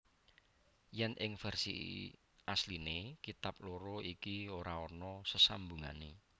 Yen ing versi asliné kitab loro iki ora ana sesambungané